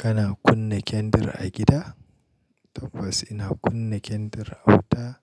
Kana kunna kendir a gida? Tabbas ina kunna kendir a wuta